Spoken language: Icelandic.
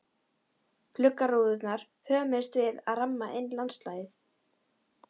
Gluggarúðurnar hömuðust við að ramma inn landslagið.